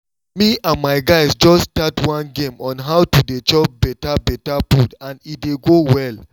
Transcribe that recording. me and my guys just start one game on how to dey chop better better food and e dey go well